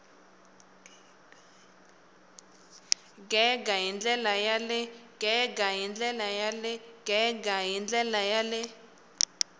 gega hi ndlela ya le